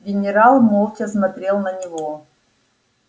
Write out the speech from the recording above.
генерал молча смотрел на него